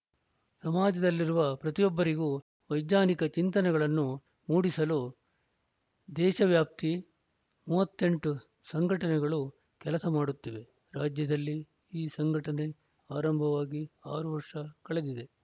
ಸಮಾಜದಲ್ಲಿರುವ ಪ್ರತಿಯೊಬ್ಬರಿಗೂ ವೈಜ್ಞಾನಿಕ ಚಿಂತನೆಗಳನ್ನು ಮೂಡಿಸಲು ದೇಶವ್ಯಾಪ್ತಿ ಮೂವತ್ತ್ ಎಂಟು ಸಂಘಟನೆಗಳು ಕೆಲಸ ಮಾಡುತ್ತಿವೆ ರಾಜ್ಯದಲ್ಲಿ ಈ ಸಂಘಟನೆ ಆರಂಭವಾಗಿ ಆರು ವರ್ಷ ಕಳಿದಿದೆ